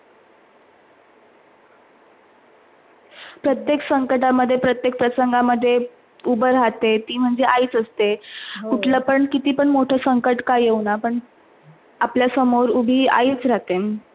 प्रत्येक संकट मधे, प्रत्येक प्रसंगामध्ये उभे राहते ती म्हणजे आईच असते. कुठले पण किती पण कुठले मोठे संकट काय येवना पण आपल्या सामोर उभी आईच रहाते.